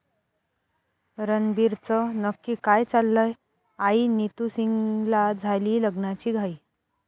रणबीरचं नक्की काय चाललंय? आई नितू सिंगला झालीय लग्नाची घाई